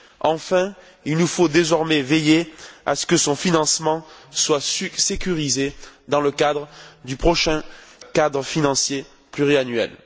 Enfin, il nous faut désormais veiller à ce que son financement soit sécurisé dans le cadre du prochain cadre financier pluriannuel.